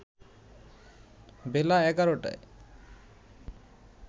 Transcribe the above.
বেলা ১১টায়